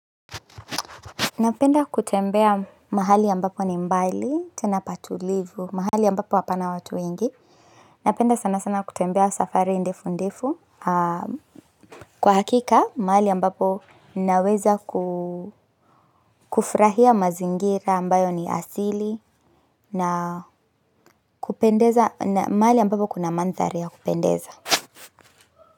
Napenda kutembea mahali ambapo ni mbali, tena patulivu, mahali ambapo hapana watu wengi. Napenda sana sana kutembea safari ndefu ndefu, kwa hakika mahali ambapo naweza kufurahia mazingira ambayo ni asili na mahali ambapo kuna manthari ya kupendeza.